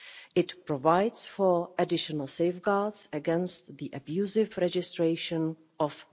It provides for additional safeguards against the abusive registration of